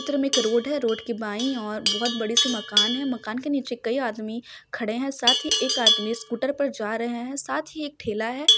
चित्र मे एक रोड है रोड के बाईं और बहुत बड़े से मकान है मकान के नीचे कई आदमी खड़े है साथ ही एक आदमी स्कूटर पर जा रहे है साथ ही एक ठेला हैं।